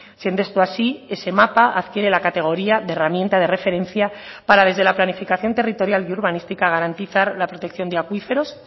siendo esto así ese mapa adquiere la categoría de herramienta de referencia para desde la planificación territorial y urbanística garantizar la protección de acuíferos